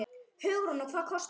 Hugrún: Og hvað kostaði hún?